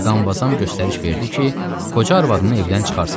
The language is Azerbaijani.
Mqamvazam göstəriş verdi ki, qoca arvadını evdən çıxartsınlar.